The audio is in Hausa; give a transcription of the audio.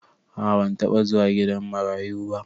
A'a ban taba zuwa gidan marayu ba.